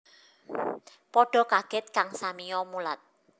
Padha kaget kang samiya mulat